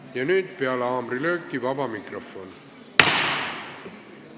Ja nüüd peale haamrilööki on vaba mikrofon.